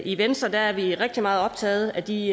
i venstre er vi rigtig meget optaget af de